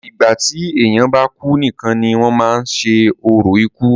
ìgbà tí èèyàn bá kú nìkan ni wọ́n máa ń ṣe orò ikú